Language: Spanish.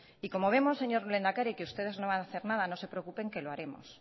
y como vemos señor lehendakari que ustedes no van a hacer nada no se preocupen que lo haremos